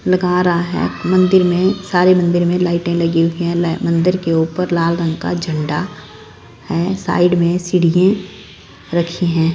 लगा रहा है मंदिर में सारे मंदिर में लाइटें लगी हुई है मंदिर के ऊपर लाल रंग का झंडा है साइड में सीढ़ी रखी हैं।